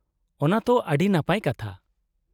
-ᱚᱱᱟ ᱛᱚ ᱟᱹᱰᱤ ᱱᱟᱯᱟᱭ ᱠᱟᱛᱷᱟ ᱾